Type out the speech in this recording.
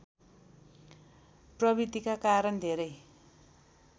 प्रवृतिका कारण धेरै